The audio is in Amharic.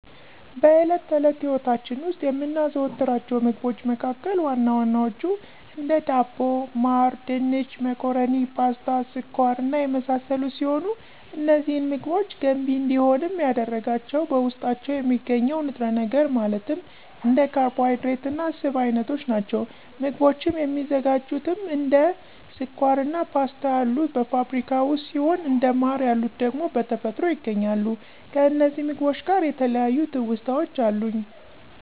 በእለት ተእለት ህይወታች ዉስጥ የምናዘወትራቸው ምግቦች መካከል ዋና ዋናዎቹ፦ እንደ ዳቦ፣ ማር፣ ድንች፣ መኮረኒ፣ ፓስታ፣ ስኳር እና የመሳሰሉት ሲሆኑ፤ እነዚህን ምግቦች ገንቢ እንዲሆንም ያደረጋቸው በዉስጣቸው የሚገኘው ንጥረነገር ማለትም እንደ ካርቦሀይድሬት እና ስብ እይነቶች ናቸዉ። ምግቦችም የሚዘጋጁትም እንደ ስኳር አና ፓስታ ያሉት በፋብሪካ ውስጥ ሲሆኑ እንደ ማር የሉት ደግሞ በተፈጥሮ ይገኛሉ። ከእነዚህም ምግቦች ጋር የተለያዩ ትዉስታወች አሉኝ።